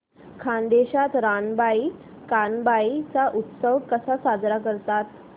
खानदेशात रानबाई कानबाई चा उत्सव कसा साजरा करतात